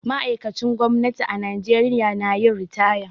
Ma'aikacin gwamnati a Najeriya na yin ritaya.